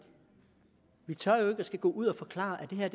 gå ud og forklare at det her